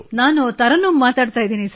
ನಾನು ತರನ್ನುಮ್ ಮಾತನಾಡುತ್ತಿದ್ದೇನೆ